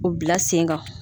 U bila sen kan.